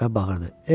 Və bağırdı.